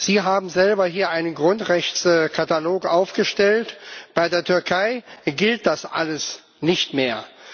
Sie haben selbst hier einen Grundrechtskatalog aufgestellt, bei der Türkei gilt das alles nicht mehr.